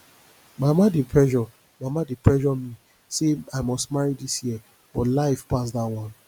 my mama dey pressure mama dey pressure me say i must marry this year but life pass dat one